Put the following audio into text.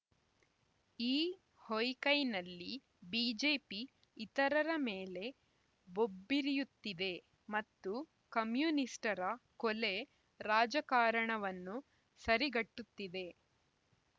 ಈ ಹೊಯ್‌ಕೈನಲ್ಲಿ ಬಿಜೆಪಿ ಇತರರ ಮೇಲೆ ಬೊಬ್ಬಿರಿಯುತ್ತಿದೆ ಮತ್ತು ಕಮ್ಯುನಿಸ್ಟರ ಕೊಲೆ ರಾಜಕಾರಣವನ್ನು ಸರಿಗಟ್ಟುತ್ತಿದೆ